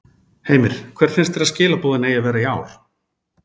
Heimir: Hver finnst þér að skilaboðin eigi að vera í ár?